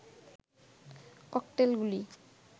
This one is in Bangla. ককটেলগুলি